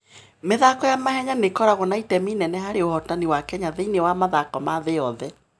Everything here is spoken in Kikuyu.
mĩthako ya mahenya nĩ ĩkoragwo na itemi inene harĩ ũhootani wa Kenya thĩinĩ wa mathako ma thĩ yothe.